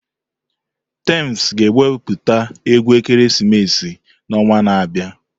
Tems ga-ewepụta egwu ekeresimesi n'ọnwa na-abịa.